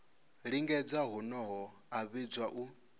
lingedza honoho a vhidzwa u